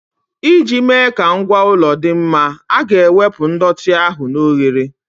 Iji mee ka ngwa ụlọ dị mma, a ga-ewepụ ndọtị ahụ na oghere.